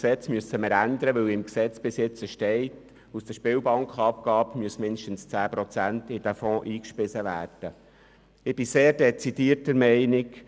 Dazu müssen wir das Gesetz ändern, weil im Gesetz bis jetzt festgehalten ist, dass aus der Spielbankenabgabe mindestens 10 Prozent in diesen Fonds eingespeist werden müssen.